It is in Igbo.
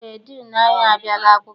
Eé, diinu anyị abịala akwụkwọ.